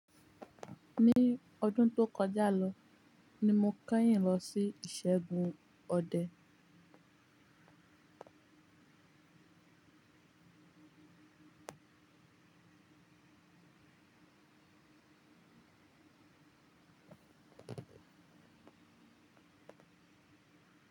Ní ọdún tó kọjá lọ ní mo kẹ́yìn lọ sí ìṣẹ́gun ọdẹ.